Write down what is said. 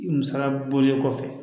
Musaka bɔlen kɔfɛ